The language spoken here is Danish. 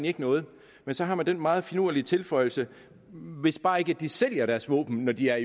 ikke noget men så har man den meget finurlige tilføjelse hvis bare ikke de sælger deres våben når de er